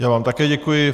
Já vám také děkuji.